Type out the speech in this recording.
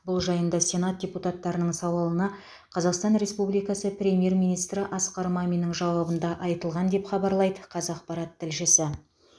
бұл жайында сенат депутаттарының сауалына қазақстан республикасы премьер министрі асқар маминнің жауабында айтылған деп хабарлайды қазақпарат тілшісі